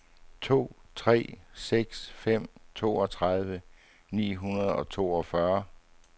to tre seks fem toogtredive ni hundrede og toogfyrre